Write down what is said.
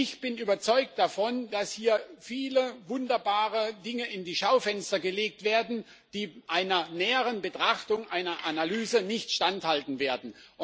Ich bin überzeugt davon, dass hier viele wunderbare Dinge in die Schaufenster gelegt werden, die einer näheren Betrachtung und Analyse nicht standhalten werden.